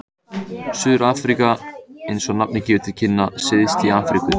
Suður-Afríka er, eins og nafnið gefur til kynna, syðst í Afríku.